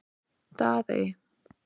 Daðey